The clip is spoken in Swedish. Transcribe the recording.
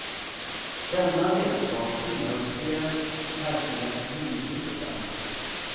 Denna vetskap tillhör spelets verkliga grundbultar.